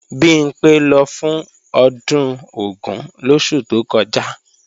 Bimpé lọ fún ọdún Ògún lóṣù tó kọjá